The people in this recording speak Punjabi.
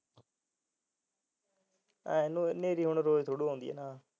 ਐ ਹਨੇਰੀ ਰੋਜ ਥੋੜੀ ਆਉਂਦੀ